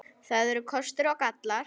Það eru kostir og gallar.